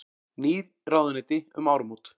Ný ráðuneyti um áramót